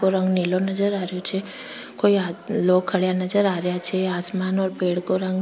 रंग नीलो नजर आ रही छे कोई लोग खड़े नजर आ रहे छे आसमान और पेड़ का रंग --